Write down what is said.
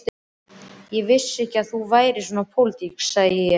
Ég vissi ekki að þú værir svona pólitísk, segi ég.